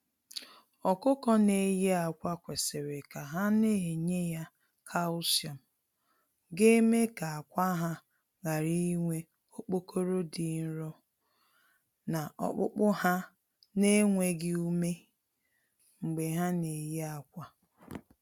Ọkụkọ na eye akwa kwesịrị ka ha na enye ya Kalsiọm, ga eme ka akwa ha ghara inwe okpokoro dị nro, na okpukpu ha na enweghị ume, mgbe ha na eye akwa.